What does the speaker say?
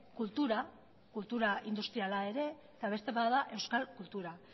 kultura kultura industriala ere eta beste bat da euskal kultura